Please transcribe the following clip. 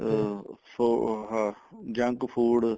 ਅਹ so ਅਹ junk food